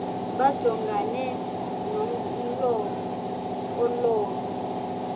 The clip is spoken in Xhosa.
bajongane nomlo ololu